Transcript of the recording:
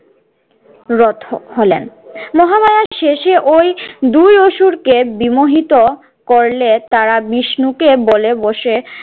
রথ হলেন। মহামায়া শেষে ওই দুই অসুরকে বিমোহিত করলে তারা বিষ্ণুকে বলে বসে